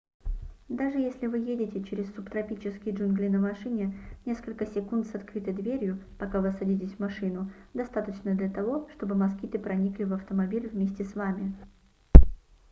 даже если вы едете через субтропические джунгли на машине несколько секунд с открытой дверью пока вы садитесь в машину достаточно для того чтобы москиты проникли в автомобиль вместе с вами